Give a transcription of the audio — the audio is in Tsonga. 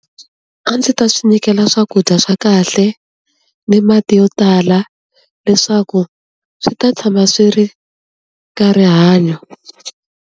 A ndzi ta swi nyikela swakudya swa kahle, ni mati yo tala leswaku swi ta tshama swi ri ka rihanyo.